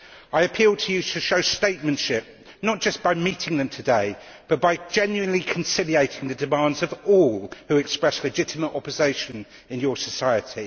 I appeal to you to show statesmanship, not just by meeting them today, but by genuinely conciliating the demands of all who express legitimate opposition in your society.